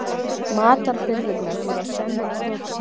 Matarbirgðirnar voru senn á þrotum.